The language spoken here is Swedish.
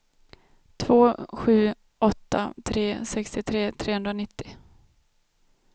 två sju åtta tre sextiotre trehundranittio